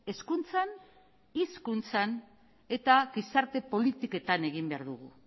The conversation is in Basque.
hezkuntzan hizkuntzan eta gizarte politiketan egin behar dugu